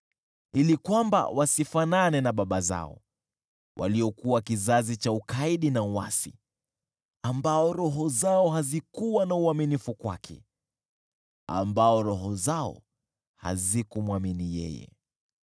Ili wasifanane na baba zao, waliokuwa kizazi cha ukaidi na uasi, ambao roho zao hazikuwa na uaminifu kwake, ambao roho zao hazikumwamini.